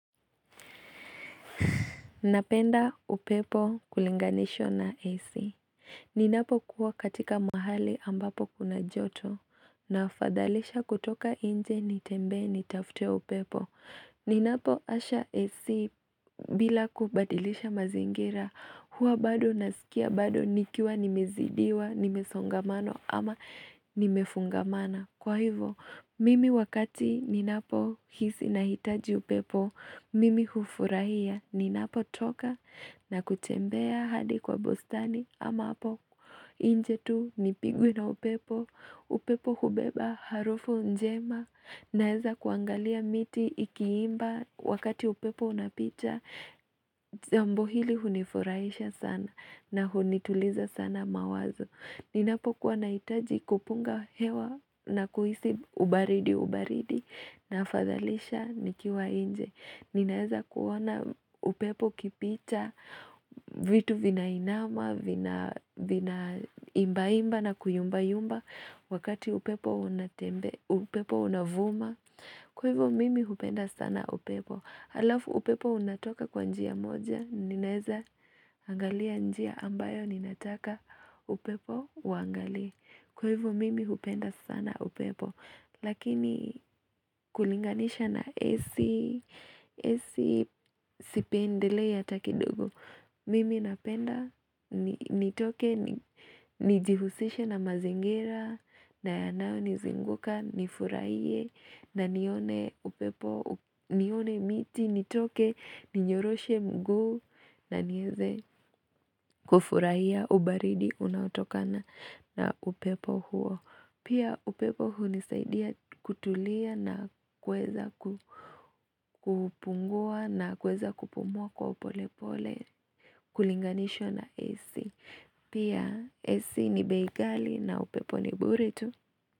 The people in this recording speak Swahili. Napenda upepo kulinganishwa na AC. Ninapokuwa katika mahali ambapo kuna joto na fadhalisha kutoka inje nitembee nitafute upepo. Ninapo washa AC bila kubadilisha mazingira huwa bado nasikia bado nikiwa nimezidiwa nimesongamanwa ama nimefungamana. Kwa hivyo, mimi wakati ninapohisi nahitaji upepo, mimi hufurahia ninapotoka na kutembea hadi kwa bustani ama hapo inje tu nipigwe na upepo, upepo hubeba harufu njema. Naweza kuangalia miti ikiimba wakati upepo unapita jambo hili hunifurahisha sana na hunituliza sana mawazo. Ninapokuwa nahitaji kupunga hewa na kuhisi ubaridi ubaridi nafadhalisha nikiwa inje. Ninaweza kuona upepo ukipita vitu vinainama, vinaimbaimba na kuyumbayumba wakati upepo unatembea, upepo unavuma. Kwa hivyo mimi hupenda sana upepo. Alafu upepo unatoka kwa njia moja, ninaweza angalia njia ambayo ninataka upepo uangalie Kwevo mimi upenda sana upepo. Lakini kulinganisha na AC, AC sipendelei hata kidogo Mimi napenda nitoke, nijihusishe na mazingira Nayanayo nizinguka, nifurahie na nione upepo, nione miti, nitoke, ninyoroshe mguu Naniweze kufurahia ubaridi unaotokana na upepo huo Pia upepo hunisaidia kutulia na kuweza kupungua na kweza kupumua kwa upolepole kulinganishwa na AC. Pia AC ni bei ghali na upepo ni bure tu.